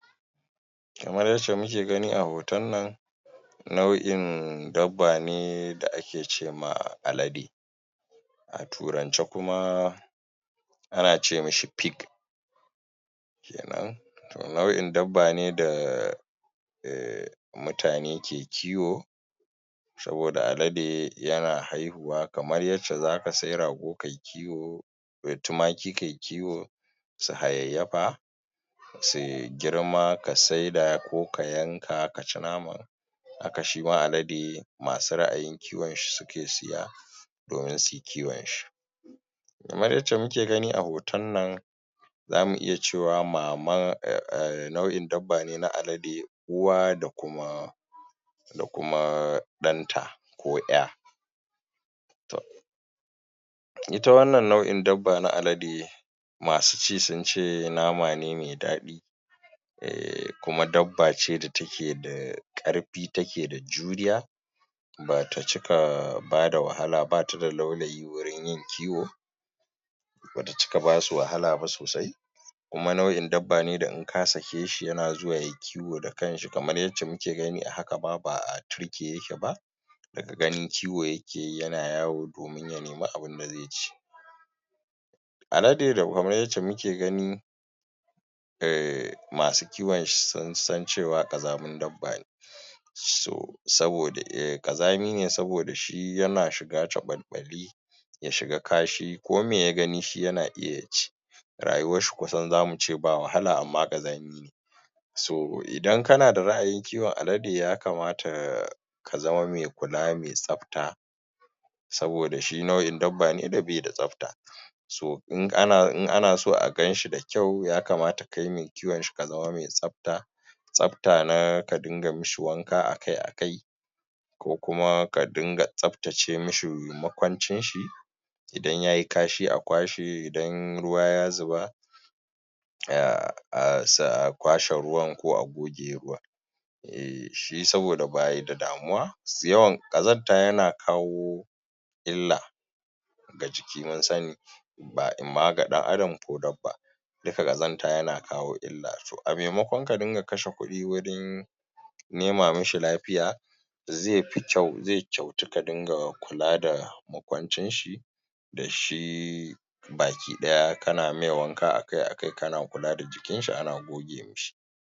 Kamar yadda muke gani a hoton nan, nau'in dabba ne da ake ce ma alade a Turance kuma, ana ce mishi PIG. Nau'in dabba ne da mutane ke kiwo. Saboda alade yana haihuwa kamar yadda za ka sayi rago ka yi kiwo ko tumaki ka yi kiwo su hayayyafa su girma ka saida ko ka yanka ka ci naman. Haka shi ma alade masu ra'ayin kiwonshi suke saya domin su yi kiwonshi. Kamar yadda muke gani a hoton nan, za mu iya cewa nau'in dabba na alade, uwa da kuma da kuma ɗanta ko ƴa. To. Ita wanna nau'i dabba na alade masu ci sun ce nama ne mai daɗi. Kuma dabba ce da take da ƙarfi take da juriya. Ba ta cika ba da wahala--ba ta da laulayi wurin yin kiwo. ba ta cika ba su wahala ba sosai. Kuma nau'in dabba ne da in ka sake shi yana zuwa ya yi kiwo kamar yadda muke gani a haka ma ba a turke yake ba. Daga gani kiwo yake yi yana yawo domin ya nemi abin da zai ci. Alade kamar yadda muke gani masu kiwonshi sun san cewa ƙazamin dabba ne, Ƙazami ne saboda shi yana shiga cakwaɓi. ya shiga kashi. Kome ya gani shi yana iya ci. Rayuwarshi kusan za mu iya ce ba wahala amma ƙazami ne So, idan kana da ra'ayin kiwon alade, ya kamata ka zama mai kula mai tsafta. saboda shi nau'in dabba ne da bai da tsafta. So, in ana so a gan shi da kyau ya kamata kai mai kiwonshi ka zama mai tsafta. Tsafta na ka dinga mishi wanka a-kai-a-kai. Ko kuma ka dinga tsaftace mishi makwancinshi. Idan ya yi kashi a kwashe, idan ruwa ya zuba, a kwashe ruwan ko a goge ruwan. Saboda shi ba shi da damuwa, ƙazanta yana kawo illa ga jiki mun sani in ma ga ɗan'adam ko dabba. Duka ƙazanta yana kawo illa. To, a maimakon ka riƙa kashe kuɗi wurin nema mishi lafiya zai fi kyau, zai kyautu ka dinga kula da makwancinshi da shi baki ɗaya kana yi mai wanka a-kai-a-kai, kana kula da jikinshi ana goge mishi.